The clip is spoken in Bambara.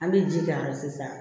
An bɛ ji k'a la sisan